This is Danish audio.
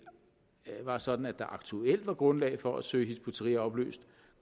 var sådan at der aktuelt var grundlag for at søge hizb ut tahrir opløst